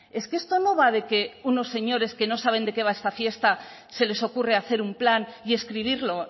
es que esto no va de que unos señores que no saben de qué va esta fiesta se les ocurre hacer un plan y escribirlo